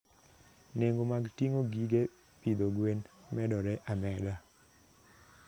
Nengo mag ting'o gige pidho gwen medore ameda.